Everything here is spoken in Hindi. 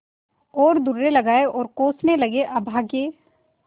और दुर्रे लगाये और कोसने लगेअभागे